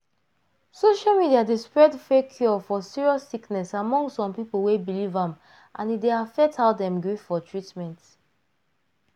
social media d spread fake cure for serious sickness among some people wey believe am and e dey affect how dem gree for treatment.